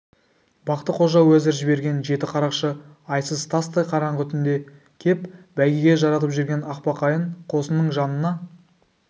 бақты-қожа уәзір жіберген жеті қарақшы айсыз тастай қараңғы түнде кеп бәйгеге жаратып жүрген ақбақайын қосының жанына